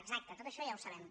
exacte tot això ja ho sabem